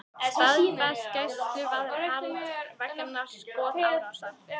Staðfest gæsluvarðhald vegna skotárásar